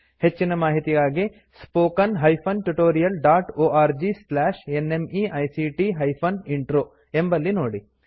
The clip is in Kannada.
ಹೆಚ್ಚಿನ ಮಾಹಿತಿಗಾಗಿ spoken hyphen tutorial dot org slash NMEICT hyphen intro ಎಂಬಲ್ಲಿ ನೋಡಿ